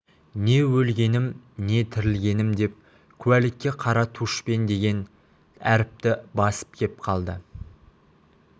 не өлгенім не тірілгенім деп куәлікке қара тушпен деген әріпті басып кеп қалды